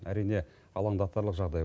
әрине алаңдатарлық жағдай